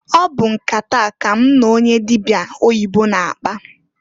Ọ bụ nkata a ka m n'onye dịbịa oyibo na-akpa.